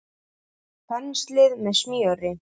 Penslið með smjöri.